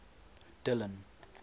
dillon